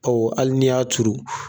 Ɔ hali ni y'a turu.